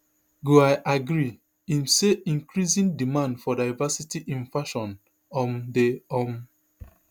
goi agree im say increasing demand for diversity in fashion um dey um